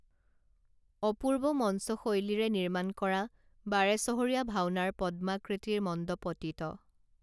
অপূৰ্ব মঞ্চ শৈলীৰে নিৰ্মাণ কৰা বাৰেচহৰীয়া ভাওনাৰ পদ্মাকৃতিৰ মণ্ডপটিত